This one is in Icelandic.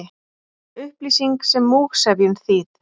Upplýsing sem múgsefjun, þýð.